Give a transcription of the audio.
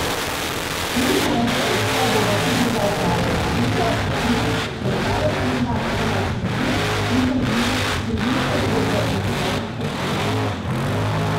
Minimalna sredstva bodo tudi za oddaje Odkrito, Utrip, Zrcalo tedna, Polnočni klub, Intervju, Družinske zgodbe in Pogovor s predsednikom.